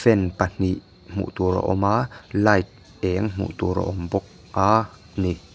fan pahnih hmuh tur a awm a light eng hmuh tur a awm bawk a ni.